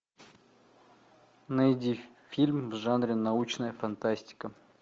найди фильм в жанре научная фантастика